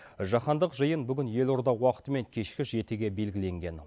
жаһандық жиын бүгін елорда уақытымен кешкі жетіге белгіленген